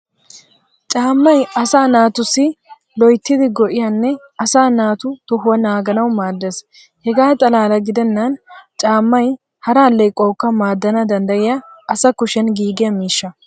Caamay asaa naatussi loyttidi go'iyaanne asaa naatu tohuwaa naaganawu maadees. Hegaa xalaala gidennan caamay hara alleequwaawukka maadana danddayiyaa asa kushen giigiyaa mishsha.